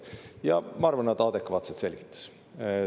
Ja ma arvan, et ta adekvaatselt selgitas.